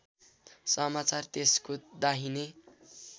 समाचार त्यसको दाहिने